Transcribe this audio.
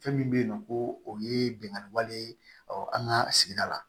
Fɛn min bɛ yen nɔ ko o ye binkani wale ye an ka sigida la